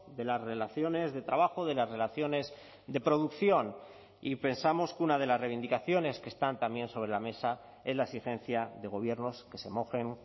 de las relaciones de trabajo de las relaciones de producción y pensamos que una de las reivindicaciones que están también sobre la mesa es la exigencia de gobiernos que se mojen